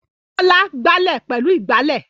Bọ́lá gbálẹ̀ pẹ̀lú ìgbálẹ̀.